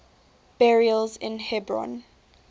burials in hebron